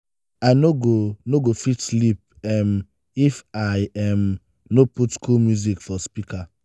i no go no go fit sleep um if i um no put cool music for my speaker.